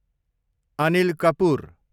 Anil Kapoor